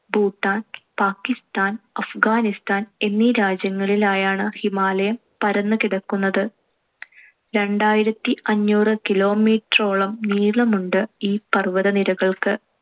ഭൂട്ടാൻ, പാകിസ്താൻ, അഫ്ഗാനിസ്ഥാൻ എന്നീ രാജ്യങ്ങളിലായാണ്‌ ഹിമാലയം പരന്നു കിടക്കുന്നത്. രണ്ടായിരത്തിഅഞ്ഞൂറ് kilometer ഓളം നീളമുണ്ട് ഈ പർവ്വതനിരകൾക്ക്.